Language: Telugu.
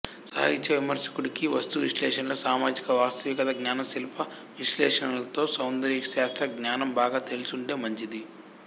సాహిత్య విమర్శకుడికి వస్తు విశ్లేషణలో సామాజిక వాస్తవికత జ్ఞానం శిల్ప విశ్లేషణలతో సౌందర్య శాస్త్ర జ్ఞానం బాగా తెలిసుంటే మంచింది